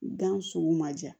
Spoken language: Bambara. Gan sugu ma ja